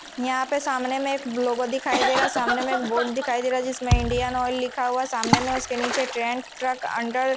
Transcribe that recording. यहां पे सामने में एक ब्लॉगो दिखाई दे रहा सामने में बोर्ड दिखाई दे रहा जिसमें इंडियन ऑयल लिखा हुआ सामने में उसके नीचे ट्रेन ट्रक अंडर --